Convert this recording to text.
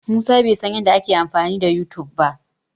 Musa bai san yadda ake amfani da Yutub ba.